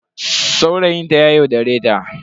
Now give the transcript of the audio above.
Saurayin ta ya yaudare ta.